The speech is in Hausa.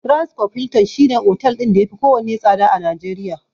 Transcorp Hilton shi ne otel ɗin da yafi kowanne tsada a Najeriya.